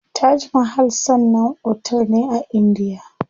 Taj mahal sannan otel ne a indiya.